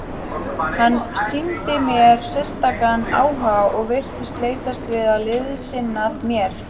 Hann sýndi mér sérstakan áhuga og virtist leitast við að liðsinna mér.